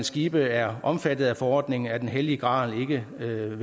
skibe er omfattet af forordningen er den hellige grav ikke vel